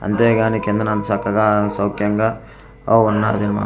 అంతే గానీ కిందన అంత సక్కగా సౌక్యంగా ఆ ఉన్న--